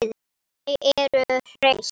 Þau eru hraust